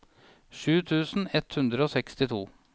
sju tusen ett hundre og sekstito